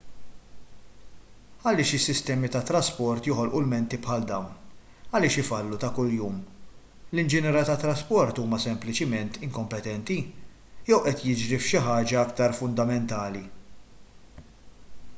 għaliex is-sistemi tat-trasport joħolqu ilmenti bħal dawn għaliex ifallu ta' kuljum l-inġiniera tat-trasport huma sempliċiment inkompetenti jew qed jiġri xi ħaġa aktar fundamentali